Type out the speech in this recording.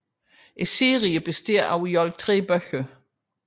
Serien består i alt af 3 bøger